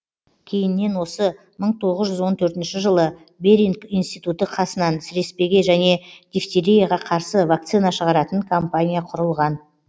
кейіннен осы мың тоғыз жүз он төртінші жылы беринг институты қасынан сіреспеге және дифтерияға қарсы вакцина шығаратын компания құрылған